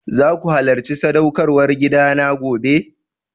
Zaku halacci sadaukarwar gida na gobe?